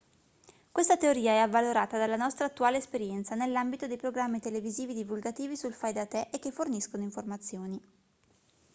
questa teoria è avvalorata dalla nostra attuale esperienza nell'ambito dei programmi televisivi divulgativi sul fai da te e che forniscono informazioni